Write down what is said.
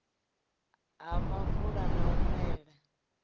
ha muvula na u mela